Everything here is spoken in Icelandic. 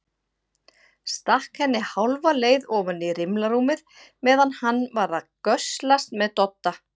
Stakk henni hálfa leið ofan í rimlarúmið meðan hann var að göslast með Dodda.